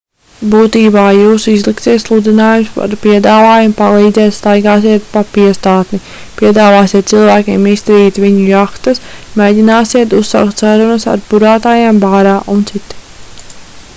būtībā jūs izliksiet sludinājumus ar piedāvājumu palīdzēt staigāsiet pa piestātni piedāvāsiet cilvēkiem iztīrīt viņu jahtas mēģināsiet uzsākt sarunas ar burātājiem bārā u.c